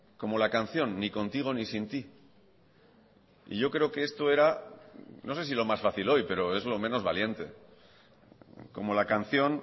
como la canción ni contigo ni sin ti y yo creo que esto era no sé si lo más fácil hoy pero es lo menos valiente como la canción